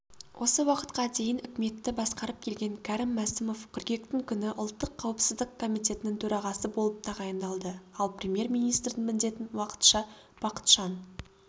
осы уақытқа дейін үкіметті басқарып келген кәрім мәсімов қыркүйектің күні ұлттық қауіпсіздік комитетінің төрағасы болып тағайындалды ал премьер-министрдің міндетін уақытша бақытжан